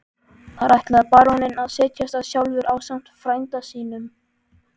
Þar ætlaði baróninn að setjast að sjálfur ásamt frænda sínum.